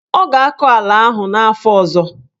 Ọ ga-akọ ala ahụ n'afọ ọzọ.